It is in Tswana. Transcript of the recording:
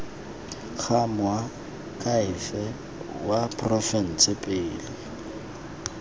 go moakhaefe wa porofense pele